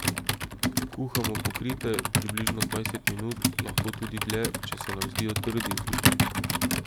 Kuhamo pokrite, približno dvajset minut, lahko tudi dlje, če se nam zdijo trdi.